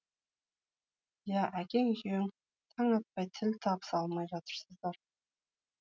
иә әкең екеуің таң атпай тіл табыса алмай жатырсыздар